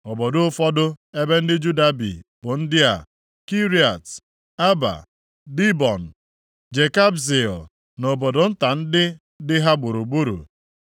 Obodo ụfọdụ ebe ndị Juda bi bụ ndị a: Kiriat Aba, Dibọn, Jekabzeel na obodo nta ndị dị ha gburugburu,